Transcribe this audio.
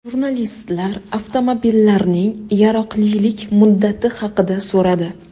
Jurnalistlar avtomobillarning yaroqlilik muddati haqida so‘radi.